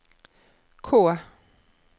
K